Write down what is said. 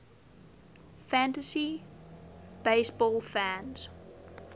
fantasy baseball fans